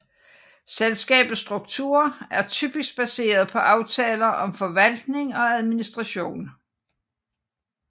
Selskabets struktur er typisk baseret på aftaler om forvaltning og administration